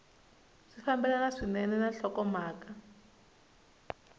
swi fambelana swinene na nhlokomhaka